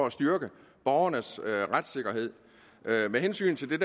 at styrke borgernes retssikkerhed med hensyn til det